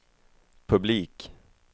publik